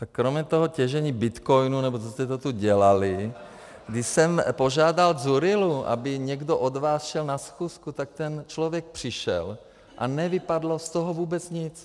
Tak kromě toho těžení bitcoinů nebo co jste to tu dělali, když jsem požádal Dzurillu, aby někdo od vás šel na schůzku, tak ten člověk přišel a nevypadlo z toho vůbec nic.